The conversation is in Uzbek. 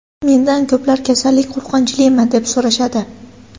Mendan ko‘plar kasallik qo‘rqinchlimi, deb so‘rashadi.